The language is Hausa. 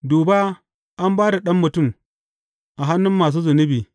Duba an ba da Ɗan Mutum a hannun masu zunubi.